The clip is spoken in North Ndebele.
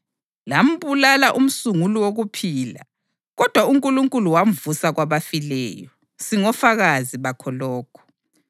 Lambulala umsunguli wokuphila, kodwa uNkulunkulu wamvusa kwabafileyo. Singofakazi bakho lokhu.